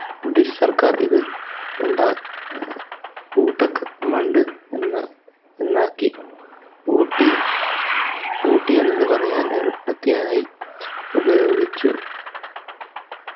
british സർക്കാർ ഇത് ഉണ്ട അഹ് ഉധക് മണ്ഡ് എന്ന എന്നാക്കി ഊട്ടി ഊട്ടി എന്നതു പറയാൻ എളുപ്പത്തിനായി ഉപയോഗിച്ചു